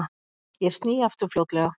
Ég sný aftur fljótlega.